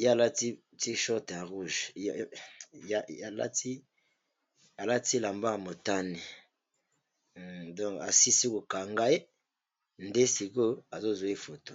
ye alati t-shirt ya rouge, alati elamba ya motane asilisi kokanga ye, nde sikoyo azozwa foto.